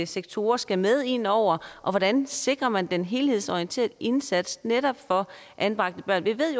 sektorer skal med indover og hvordan sikrer man den helhedsorienterede indsats netop anbragte børn vi ved